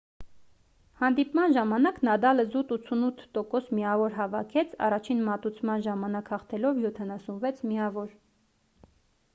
հանդիպման ժամանակ նադալը զուտ 88% միավոր հավաքեց առաջին մատուցման ժամանակ հաղթելով 76 միավոր